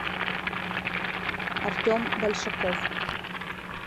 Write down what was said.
артем большаков